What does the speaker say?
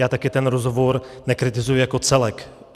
Já také ten rozhovor nekritizuji jako celek.